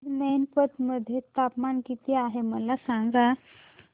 आज मैनपत मध्ये तापमान किती आहे मला सांगा